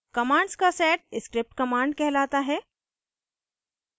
commands का set script commands कहलाता है